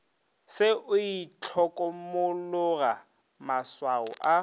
se o itlhokomologa maswao a